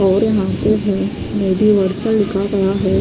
और यहां पे है मेडीवर्सल लिखा गया है।